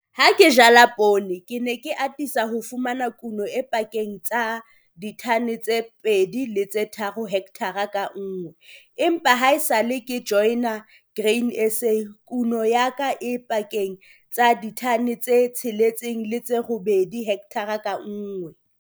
Ha ke jala poone ke ne ke atisa ho fumana kuno e pakeng tsa ditone tse 2 le tse 3 hekthara ka nngwe empa haesale ke joina Grain SA kuno ya ka e pakeng tsa ditone tse 6 le tse 8 hekthareng ka nngwe.